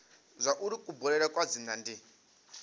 zwauri kubulele kwa dzina ndi